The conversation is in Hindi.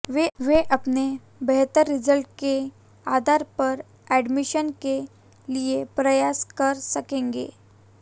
वे अपने बेहतर रिजल्ट के आधार पर एडमिशन के लिए प्रयास कर सकेंगे